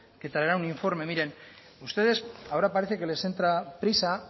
que traerá un informe miren ustedes ahora parece que les entra prisa